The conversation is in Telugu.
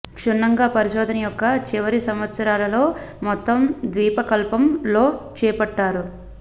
క్షుణ్ణంగా పరిశోధన యొక్క చివరి సంవత్సరాలలో మొత్తం ద్వీపకల్పం లో చేపట్టారు